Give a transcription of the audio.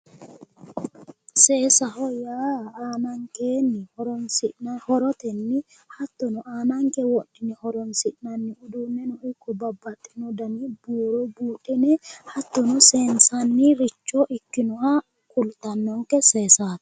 Seesaho yaa aanankeenni horotenni hattono aananke wodhine horoonsi'nanni uduunneno ikko hatto babbaxxino dani buuro buudhine hattono seensanniricho ikkinoha kultannonke seesaati